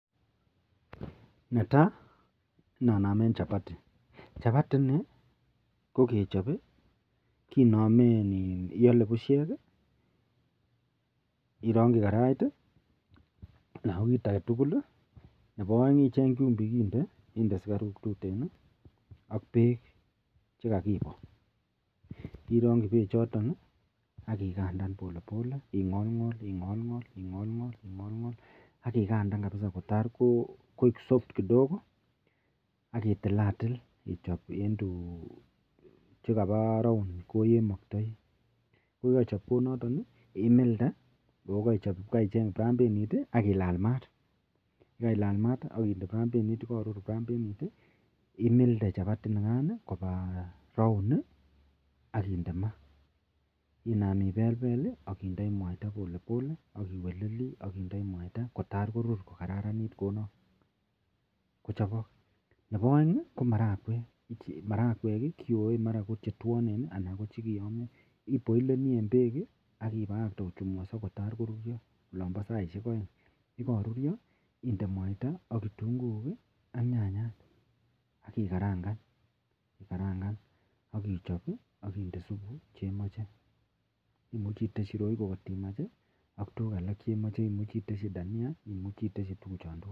Neta koinanamen chapati, chapati inibkokechop kinamen iyale bushek irongibkarait anan ko kit agetugul Nebo aeng ichengi chumbik akinde akinde sugaruk tuten ak bek chekakibo irongi bek choton akikandan polepole akingolngol akingolngol akingolngol akikandan kabisa kotar ko ok soft kidogo akitilatil ichobe chekaba round olemaktai koyeikaichopi milde akicheng brambenit akilalal mat akinde brambenit ayekarur brambenit imilde chapati inikan Kwa round akinam ibel Bel akindoi mwaita polepole akiweleli kotar korur kochabak ak Nebo aeng komarakwek keyoe mara ko chetwanen anan ko chikiyamio Ake boilen en bek akibakakte kotar ko rurio olamba saishek aeng ak yikarurio inde mwaita ak kitunguik ak nyanyat akikarangan akochob akinde subu chemache imuche iteshi reiko kotimach ak tuguk alak chemache akumuch iteshi Dania ak tuguk chantugul